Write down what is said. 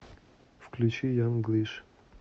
включи янг глиш